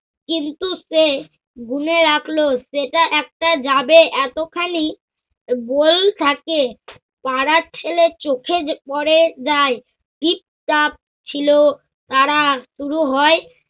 কিন্তু সে গুনে রাখল সেটা একটা যাবে এতখানি বই থাকে। পাড়ার ছেলের চোখে য~পরে যায় ঠিক তা ছিল তারা শুরু হয়।